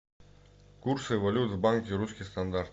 курсы валют в банке русский стандарт